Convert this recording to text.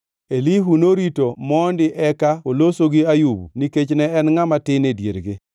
Elihu norito mondi eka oloso gi Ayub nikech ne en ngʼama tin e diergi.